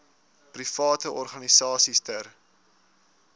private organisasies ter